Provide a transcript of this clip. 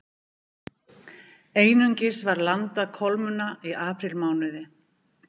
Einungis var landað kolmunna í aprílmánuði